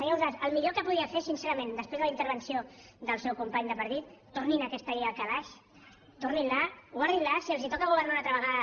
senyor ausàs el millor que podia fer sincerament després de la intervenció del seu company de partit tornin aquesta llei al calaix torninla guardinla si els toca governar una altra vegada